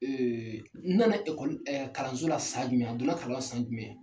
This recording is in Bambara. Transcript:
nana kalanso la san jumɛn a donna kalan na san jumɛn ?